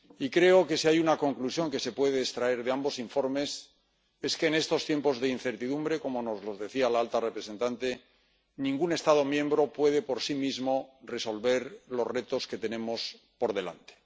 Creo que si hay una conclusión que se puede extraer de los dos informes es que en estos tiempos de incertidumbre —como nos lo decía la alta representante— ningún Estado miembro puede por sí mismo resolver los retos que tenemos por delante.